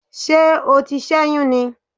Ṣé o ti sẹ́yún ni?